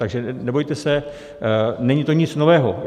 Takže nebojte se, není to nic nového.